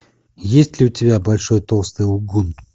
есть ли у тебя большой толстый лгун